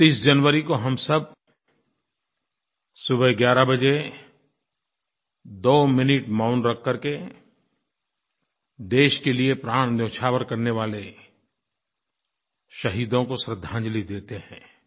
30 जनवरी को हम सब सुबह 11 बजे 2 मिनट मौन रख करके देश के लिए प्राण न्योछावर करने वाले शहीदों को श्रद्धांजलि देते हैं